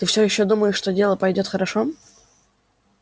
ты всё ещё думаешь что дело пойдёт хорошо